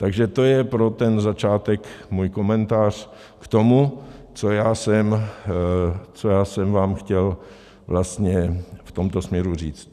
Takže to je pro ten začátek můj komentář k tomu, co já jsem vám chtěl vlastně v tomto směru říct.